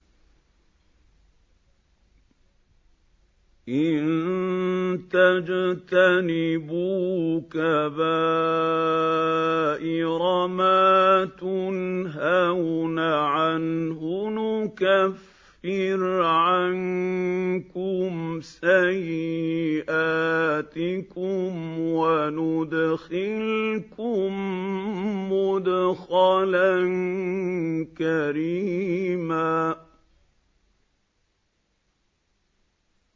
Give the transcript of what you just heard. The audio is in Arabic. إِن تَجْتَنِبُوا كَبَائِرَ مَا تُنْهَوْنَ عَنْهُ نُكَفِّرْ عَنكُمْ سَيِّئَاتِكُمْ وَنُدْخِلْكُم مُّدْخَلًا كَرِيمًا